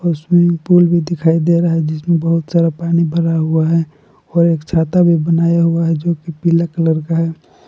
Swimming pool भी दिखाई दे रहा है जिसमें बहुत सारा पानी भरा हुआ है और एक छाता भी बनाया हुआ है जो कि पीला कलर का है।